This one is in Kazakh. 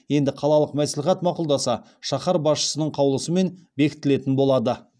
енді қалалық мәслихат мақұлдаса шаһар басшысының қаулысымен бекітілетін болады